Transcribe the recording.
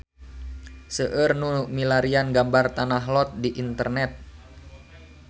Seueur nu milarian gambar Tanah Lot di internet